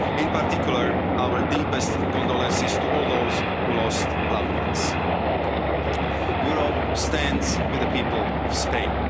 In particular, our deepest condolences go to all those who lost loved ones. Europe stands with the people of Spain.